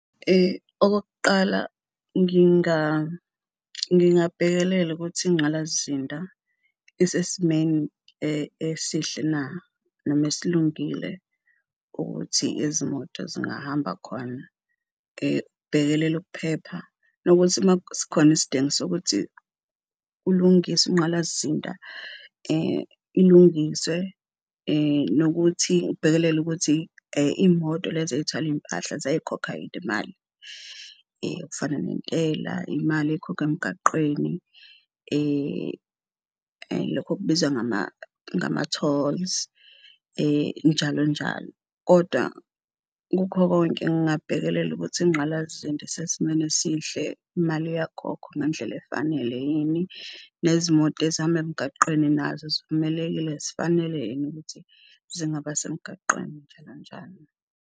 Okokuqala ngingabhekelela ukuthi ingqalasizinda isesimeni esihle na noma esilungile ukuthi izimoto zingahamba khona, kubhekelela ukuphepha nokuthi sikhona isidingo sokuthi kulungiswe inqalasizinda ilungiswe nokuthi ngibhekelele ukuthi iy'moto lezi ey'thwala iy'mpahla ziyayikhokha yini imali kufana nentela imali ekhokhwa emgaqweni. Lokhu okubizwa ngama-tolls njalo njalo kodwa kukho konke ngingabhekelela ukuthi ingqalasizinda isesimweni esihle, imali iyakhokhwa ngendlela efanele yini nezimoto ezihamba emgaqweni nazo zivumelekile zifanele yini ukuthi zingaba semgaqweni nje kanjani.